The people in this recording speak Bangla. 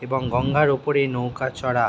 এবং গঙ্গার উপরে নৌকা চরা--